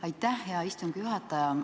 Aitäh, hea istungi juhataja!